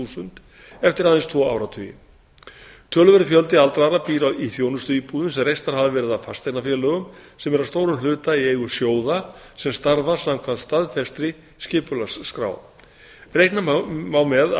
þúsund eftir aðeins tvo áratugi töluverður fjöldi aldraðra býr í þjónustuíbúðum sem reistar hafa verið af fasteignafélögum sem eru að stórum hluta í eigu sjóða sem starfa samkvæmt staðfestri skipulagsskrá reikna má með